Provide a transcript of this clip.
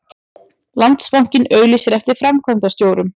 Landsbankinn auglýsir eftir framkvæmdastjórum